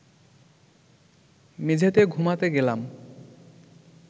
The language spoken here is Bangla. মেঝেতে ঘুমাতে গেলাম